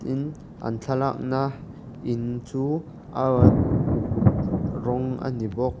tin an thlalakna in chu aawaa uk rawng a ni bawk.